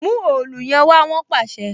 Mu òòlù yẹn wá! Wọn pàṣẹ.